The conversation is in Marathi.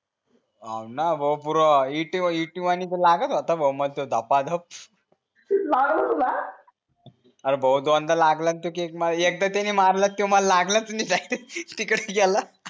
हो न भाऊ पूर इट इटी वाणी तर लागत होत न भाऊ मला तर धपा धप लागल तुला अरे भोत गंद लागल न तो केक मला एक तर ते मला मारलात तर लागलंच नाही